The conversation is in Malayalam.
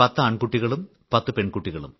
10 ആൺ കുട്ടികളും 10 പെൺ കുട്ടികളും